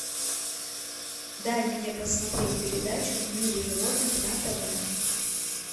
дай мне посмотреть передачу в мире животных на тв